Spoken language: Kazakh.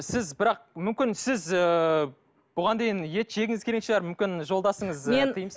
сіз бірақ мүмкін сіз ыыы бұған дейін ет жегіңіз келген шығар мүмкін жолдасыңыз